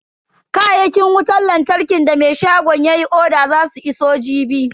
Kayakin wutan lantarkin da me shagon yayi oda zasu iso jibi.